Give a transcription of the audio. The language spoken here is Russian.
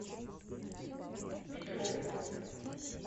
петровым